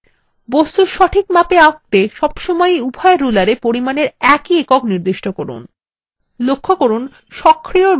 বস্তু সঠিক মাপে আঁকতে সবসময় উভয় rulersএ পরিমাপের একই একক নির্দিষ্ট করুন